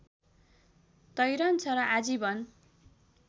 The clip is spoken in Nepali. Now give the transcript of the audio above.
तैरन्छ र आजीवन